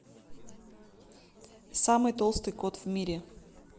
самый толстый кот в мире